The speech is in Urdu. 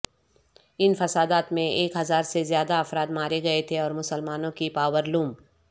ان فسادات میں ایک ہزار سے زیادہ افراد مارے گئے تھے اورمسلمانوں کی پاور لوم